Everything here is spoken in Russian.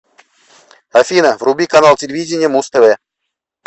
афина вруби канал телевидения муз тв